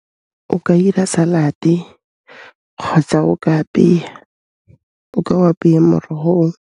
O ka 'ira salad-e kgotsa o ka apeya, o ka o apeya morogo oo.